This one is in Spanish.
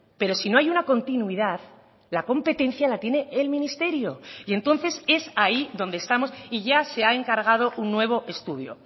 pero si no hay una continuidad la competencia la tiene el ministerio y entonces es ahí donde estamos y ya se ha encargado un nuevo estudio